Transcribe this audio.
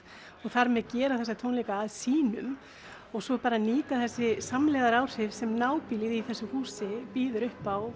þar með gera þessa tónleika að sínum og svo bara nýta þessi samlegðaráhrif sem nábýlið í þessu húsi býður upp á